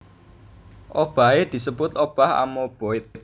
Obahé disebut obah amoeboid